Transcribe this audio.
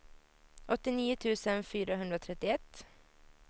åttionio tusen fyrahundratrettioett